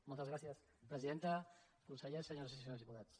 moltes gràcies presidenta consellers senyores i se·nyors diputats